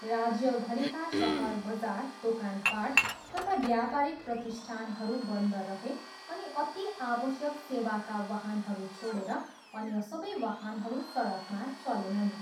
राज्यभरिका सहर बजार, दोकानपाट तथा व्यापारिक प्रतिष्ठानहरू बन्द रहे अनि अति आवश्यक सेवाका वाहनहरू छोडेर अन्य सबै वाहनहरू सडकमा चलेनन्।